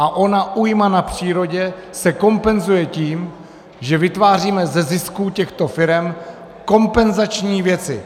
A ona újma na přírodě se kompenzuje tím, že vytváříme ze zisků těchto firem kompenzační věci.